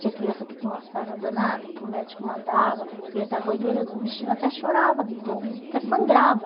Tinha criança que tinha uma sarna danada, que o médico mandava, que ia dar banho nele, o bichinho até chorava de dor, até sangrava.